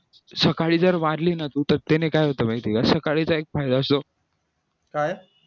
सकाळी जर मारली ना तर तू त्याने काय होतं माहितीये का सकाळचा एक फायदा असतो